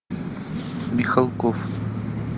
михалков